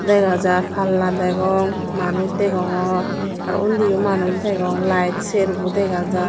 dega jar palla degong manuj degongor aro undiyo manuj degong layed serbo dega jar.